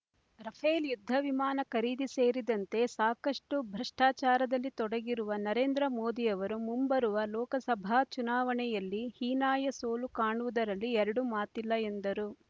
Rafale ಯುದ್ಧ ವಿಮಾನ ಖರೀದಿ ಸೇರಿದಂತೆ ಸಾಕಷ್ಟು ಭ್ರಷ್ಟಾಚಾರದಲ್ಲಿ ತೊಡಗಿರುವ ನರೇಂದ್ರ ಮೋದಿಯವರು ಮುಂಬರುವ ಲೋಕಸಭಾ ಚುನಾವಣೆಯಲ್ಲಿ ಹೀನಾಯ ಸೋಲು ಕಾಣುವುದರಲ್ಲಿ ಎರಡು ಮಾತಿಲ್ಲ ಎಂದರು